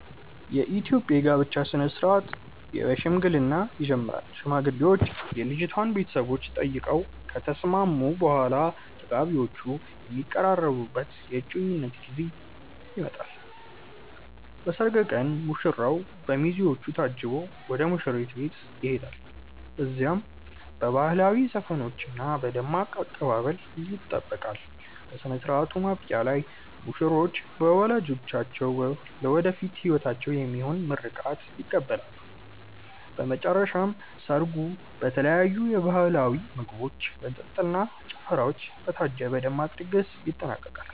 የኢትዮጵያ የጋብቻ ሥነ ሥርዓት በሽምግልና ይጀምራል። ሽማግሌዎች የልጅቷን ቤተሰቦች ጠይቀው ከተስማሙ በኋላ፣ ተጋቢዎቹ የሚቀራረቡበት የእጮኝነት ጊዜ ይመጣል። በሰርግ ቀን ሙሽራው በሚዜዎቹ ታጅቦ ወደ ሙሽሪት ቤት ይሄዳል። እዚያም በባህላዊ ዘፈኖችና በደማቅ አቀባበል ይጠበቃል። በሥነ ሥርዓቱ ማብቂያ ላይ ሙሽሮች በወላጆቻቸው ለወደፊት ሕይወታቸው የሚሆን ምርቃት ይቀበላሉ። በመጨረሻም ሰርጉ በተለያዩ ባህላዊ ምግቦች፣ መጠጦች እና ጭፈራዎች በታጀበ ደማቅ ድግስ ይጠናቀቃል።